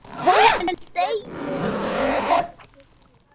Einörð og föst fyrir.